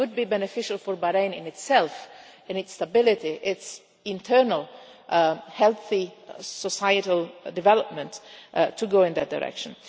So, it would be beneficial for Bahrain itself, for its stability and its internal healthy societal development, to go in that direction.